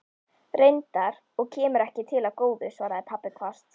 Reyndar, og kemur ekki til af góðu, svaraði pabbi hvasst.